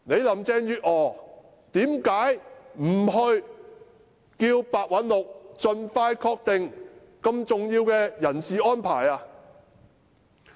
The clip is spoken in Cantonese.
林鄭月娥為何不要求白韞六盡快敲定如此重要的人事安排？